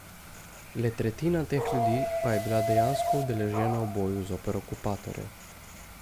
Le tretjina teh ljudi pa je bila dejansko udeležena v boju zoper okupatorja.